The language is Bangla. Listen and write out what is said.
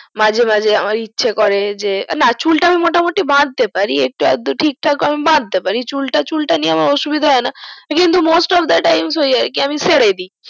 মাঝে মাঝে ইচ্ছে করে যে না চুলটা আমি মোটামোটি বাঁধতে পারি একটু আধটু ঠিক ঠাক বাঁধতে পারি চুলটা চুলটা নিয়ে আমার অসুবিধা হয়না কিন্তু most of the time ওই আর কি আমি সেরে দি